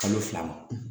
Kalo fila ma